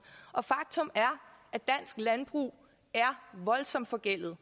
og faktum er at danske landbrug er voldsomt forgældede